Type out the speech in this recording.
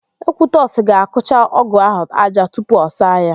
Ekwutọsị ga-akụcha ọ́gụ̀ áhụ̀ ájá tupu ọ saa ya.